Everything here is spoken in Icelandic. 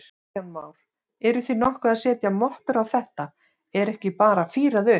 Kristján Már: Eruð þið nokkuð að setja mottur á þetta, er ekki bara fírað upp?